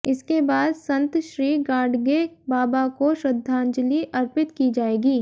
इसके बाद संतश्री गाडगे बाबा को श्रद्धांजलि अर्पित की जाएगी